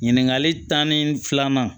Ɲininkali tanni filanan